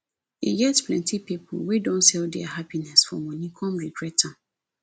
e get plenty pipo wey don sell dia happiness for money come regret am